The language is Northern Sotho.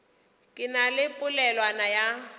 ke na le polelwana ya